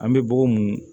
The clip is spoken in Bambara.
An bɛ bɔgɔ mun